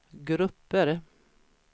grupper